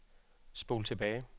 spol tilbage